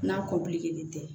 N'a tɛ